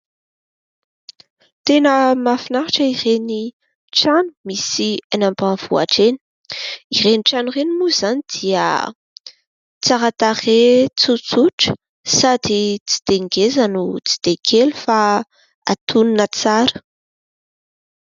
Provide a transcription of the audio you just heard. Tena mahafinaritra ireny trano misy eny ambanivohitra eny. Ireny trano ireny mo zany dia tsara tarehy, tsotsotra ; sady tsy dia ngeza no tsy dia kely fa antoniny tsara.